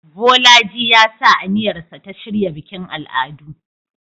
Bolaji ya sa aniyarsa ta shirya bikin al'adu